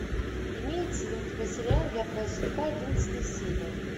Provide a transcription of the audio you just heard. имеется ли у тебя сериал я твоя судьба одиннадцатая серия